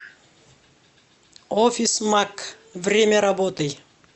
офисмаг время работы